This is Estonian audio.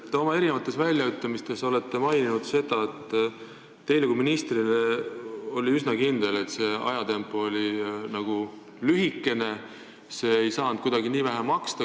Te olete oma mitmetes väljaütlemistes maininud, et teie kui minister olite üsna kindel, et see aeg oli lühikene ja see ehitus ei saanud kuidagi nii vähe maksta.